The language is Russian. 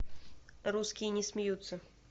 русские не смеются